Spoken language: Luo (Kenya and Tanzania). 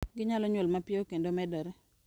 Ginyalo nyuol mapiyo kendo medore.